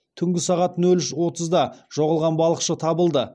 түнгі сағат нөл үш отызда жоғалған балықшы табылды